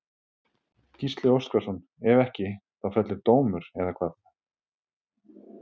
Gísli Óskarsson: Ef ekki þá fellur dómur, eða hvað?